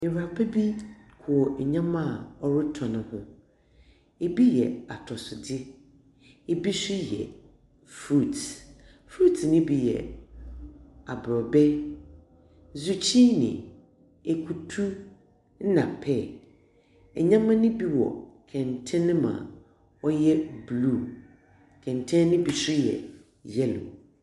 Ewuraba bi wɔ ndzɛmba a ɔrotɔn ho, bi yɛ atɔsodze, yi so yɛ fruit. Fruit no bi yɛ aborɔbɛ, zukyi na ekutu na pear. Ndzɛmba no bi wɔ kɛntsɛn mu a ɔyɛ blue. Kɛntsɛn no bi so yɛ yellow.